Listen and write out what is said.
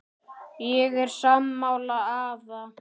Ég er sammála afa.